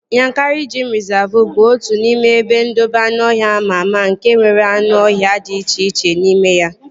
Yankari geim rịzavu bụ otu n'ime ebe ndobe anụọhịa ama ama nke nwere anụ ọhịa dị iche iche n'ime ya